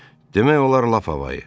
Demək olar lap havayı.